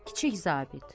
Kiçik zabit.